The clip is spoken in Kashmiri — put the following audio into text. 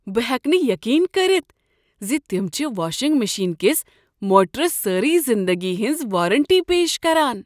بہٕ ہٮ۪کہٕ نہٕ یقین کٔرتھ ز تم چھ واشِنگ مشین کس موٹرس سٲرٕے زندگی ہٕنٛز وارنٹی پیش کران۔